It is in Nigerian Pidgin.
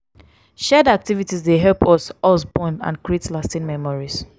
shared activities dey help us us bond and create lasting memories.